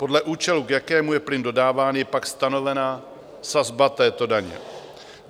Podle účelu, k jakému je plyn dodáván, je pak stanovena sazba této daně.